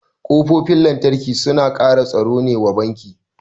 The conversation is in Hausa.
Kofofin lantarki suna kara tsaro ne wa banki